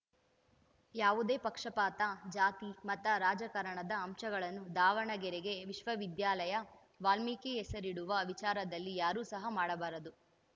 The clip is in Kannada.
ಯಾವುದೇ ಪಕ್ಷಪಾತ ಜಾತಿಮತ ರಾಜಕಾರಣದ ಅಂಶಗಳನ್ನು ದಾವಣಗೆರೆ ವಿಶ್ವವಿದ್ಯಾಲಯ ವಾಲ್ಮೀಕಿ ಹೆಸರಿಡುವ ವಿಚಾರದಲ್ಲಿ ಯಾರೂ ಸಹ ಮಾಡಬಾರದು